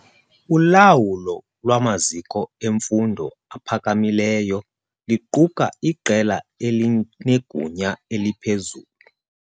Ulawulo lwamaziko emfundo ephakamileyo luquka iqela elinegunya eliphezulu.